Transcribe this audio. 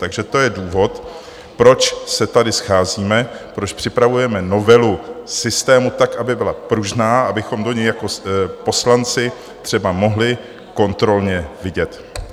Takže to je důvod, proč se tady scházíme, proč připravujeme novelu systému tak, aby byla pružná, abychom do něj jako poslanci třeba mohli kontrolně vidět.